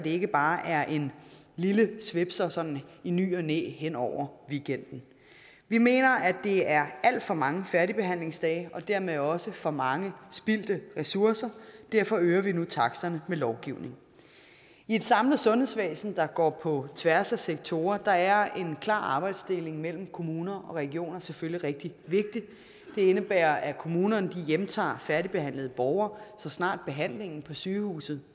ikke bare er en lille svipser sådan i ny og næ hen over weekenden vi mener at det er alt for mange færdigbehandlingsdage og dermed også for mange spildte ressourcer derfor øger vi nu taksterne med lovgivning i et samlet sundhedsvæsen der går på tværs af sektorer er en klar arbejdsdeling mellem kommuner og regioner selvfølgelig rigtig vigtig det indebærer at kommunerne hjemtager færdigbehandlede borgere så snart behandlingen på sygehuset